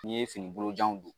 N'i ye fini bolojan don